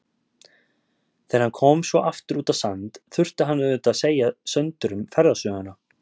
Þegar hann kom svo aftur út á Sand þurfti hann auðvitað að segja Söndurum ferðasöguna.